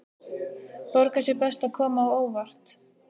Borgar sig best að koma á óvart.